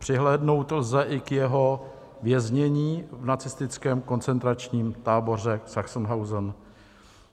Přihlédnout lze i k jeho věznění v nacistickém koncentračním táboře Sachsenhausen.